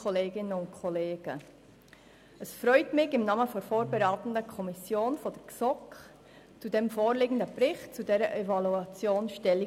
Gerne nehme ich im Namen der vorberatenden Kommission, der GSoK, zum vorliegenden Bericht über die Evaluation Stellung.